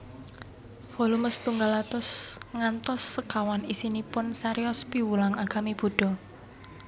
Volume setunggal ngantos sekawan isinipun cariyos piwulang agami Buddha